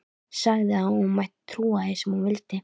Sagði að hún mætti trúa því sem hún vildi.